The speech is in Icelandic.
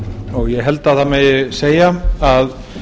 og ég held að það megi segja að